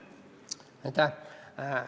Aitäh!